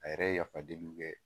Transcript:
A yɛrɛ ye yafa deliw kɛ.